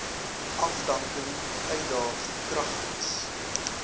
afdanking uitdaag kragtens